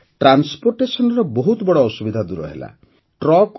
ଅର୍ଥାତ୍ ପରିବହନର ବହୁତ ବଡ଼ ଅସୁବିଧା ଦୂର ହେଲା